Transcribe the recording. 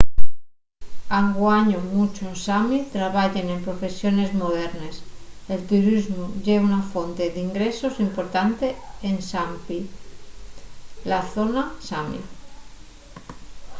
anguaño munchos sami trabayen en profesiones modernes. el turismu ye una fonte d’ingresos importante en sápmi la zona sami